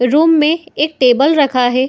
Room में एक table रखा है।